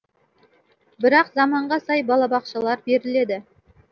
бірақ заманға сай балабақшалар беріледі